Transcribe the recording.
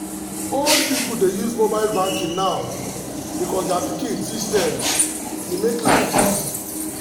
old people dey use mobile banking now because their pikin teach dem e make life easy.